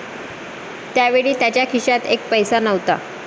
त्यावेळी त्यांच्या खिशात एक पैसा नव्हता.